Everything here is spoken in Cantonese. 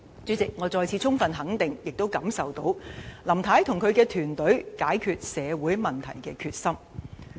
主席，我再次充分肯定、並能感受到林太及其團隊解決社會問題的決心。